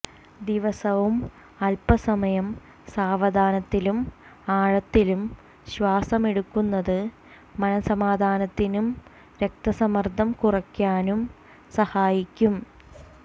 ദിവസവും അല്പസമയം സാവധാനത്തിലും ആഴത്തിലും ശ്വാസമെടുക്കുന്നത് മനസമാധാനത്തിനും രക്തസമ്മര്ദം കുറയ്ക്കാനും സഹായിക്കും